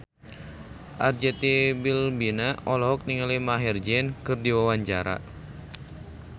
Arzetti Bilbina olohok ningali Maher Zein keur diwawancara